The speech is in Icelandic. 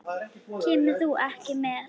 Kemur þú ekki með?